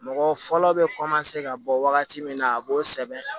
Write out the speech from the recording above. Mɔgɔ fɔlɔ bɛ ka bɔ wagati min na a b'o sɛbɛn